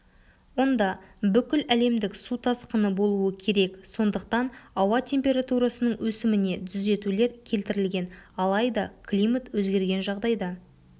онда бүкіләлемдік су тасқыны болуы керек сондықтан ауа температурасының өсіміне түзетулер келтірілген алайда климат өзгерген жағдайда